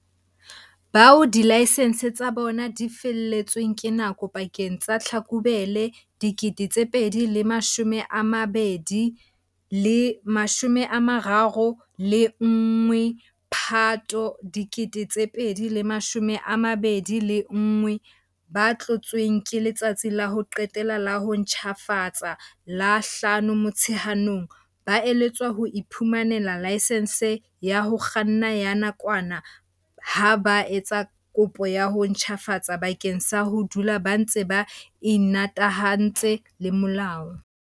Bao dilaesense tsa bona di felletsweng ke nako pakeng tsa Tlhakubele 2020 le 31 Phato 2021, ba tlotsweng ke letsatsi la ho qetela la ho ntjhafatsa la 5 Motsheanong, ba eletswa ho iphumanela laesense ya ho kganna ya nakwana ha ba etsa kopo ya ho ntjhafatsa bakeng sa ho dula ba ntse ba imatahantse le molao.